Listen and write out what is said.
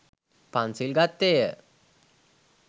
පන්සිල් ගත්තේය.